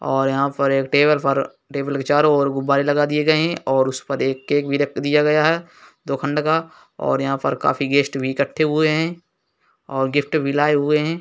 और यहाँ पर एक टेबल पर टेबुल के चारों ओर गुब्बारे लगा दिए गएँ हैं और उस पर केक भी रख दिया गया है दो खंड का और यहाँ पर काफी गेस्ट भी इकट्ठे हुएँ हैं और गिफ्ट भी लाए हुएँ हैं।